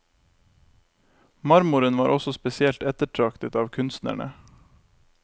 Marmoren var også spesielt ettertraktet av kunstnerne.